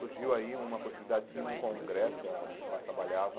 Surgiu aí uma possibilidade de ir num congresso, que ah ela trabalhava